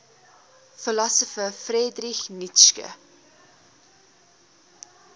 philosopher friedrich nietzsche